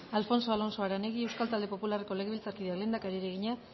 alfonso alonso aranegui euskal talde popularreko legebiltzarkideak lehendakariari egina